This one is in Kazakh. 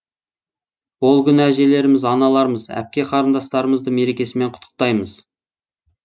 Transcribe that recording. ол күні әжелеріміз аналармыз әпке қарындастарымызды мерекесімен құттықтаймыз